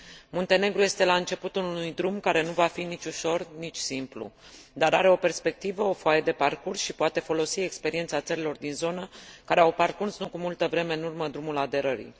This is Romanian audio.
Muntenegru este la începutul unui drum care nu va fi nici ușor, nici simplu, dar are o perspectivă, o foaie de parcurs și poate folosi experiența țărilor din zonă care au parcurs, nu cu multă vreme în urmă, drumul aderării.